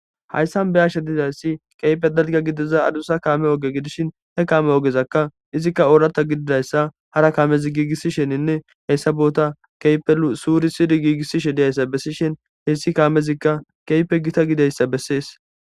Hayssan be'ashe dizaysi keehi dalgga gidiza adussa kaame oge gidishin he kaame ogezaka izika oorata gididayssa hara kaamezi gigisishininne hessa boota keehippe suurisidi gigisishe diyaysa besishin hessi kaamezika keehippe gita gididayssa besees.